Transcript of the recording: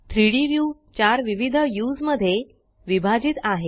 3डी व्यू 4 विविध व्यूस मध्ये विभाजित आहे